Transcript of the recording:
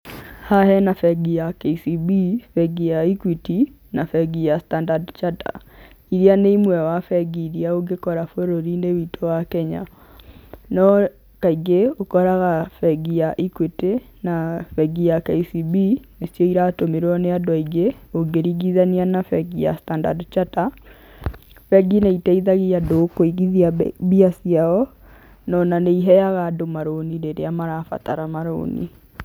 Haha hena bengi ya KCB, bengi ya Equity, na bengi ya Standard Chartered, iria nĩ imwe wa bengi iria ũngĩkora bũrũriinĩ witũ wa Kenya, no kaingĩ ũkoraga bengi ya Equity, na bengi ya KCB, nĩcio iratũmĩrwo nĩ andũ aingĩ ũngĩringithania na bengi ya Standard Chartered. Bengi nĩ iteithagia andũ kũigithia mbia ciao no na nĩ iheaga andũ maroni rĩrĩa marabatara marũni.